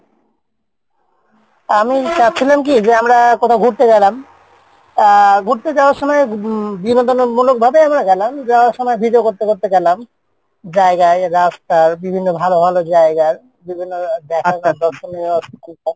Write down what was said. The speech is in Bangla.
আমি চাচ্ছিলাম কী যে আমরা কোথাও ঘুরতে গেলাম আহ ঘুরতে যাওয়ার সময় উম বিনোদনের মূলক ভাবে আমরা গেলাম যাওয়ার সময় video করতে করতে গেলাম জায়গায় রাস্তার বিভিন্ন ভালো ভালো জায়গার বিভিন্ন